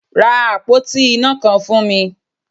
Ra àpótí iná kan fún mi!